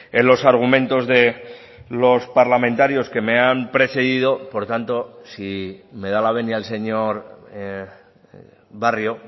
en los argumentos de los parlamentarios que me han precedido por tanto si me da la venia el señor barrio